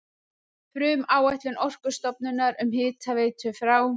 Frumáætlun Orkustofnunar um hitaveitu frá